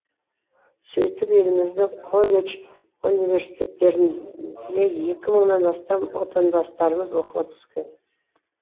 сөйтіп еліміздің колледж университеттеріне екі мыңнан астам отандастарымыз оқуға түскен